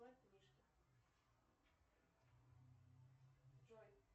джой